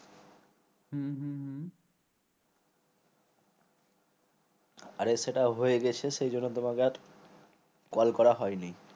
আরে সেটা হয়ে গেছে সেই জন্য তোমাকে call করা হয়নি